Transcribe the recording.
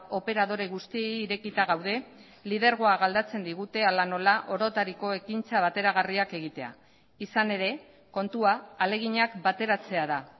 operadore guztiei irekita gaude lidergoa galdatzen digute hala nola orotariko ekintza bateragarriak egitea izan ere kontua ahaleginak bateratzea da